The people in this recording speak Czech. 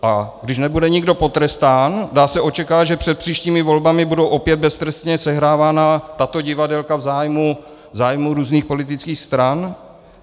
A když nebude nikdo potrestán, dá se očekávat, že před příštími volbami budou opět beztrestně sehrávána tato divadélka v zájmu různých politických stran.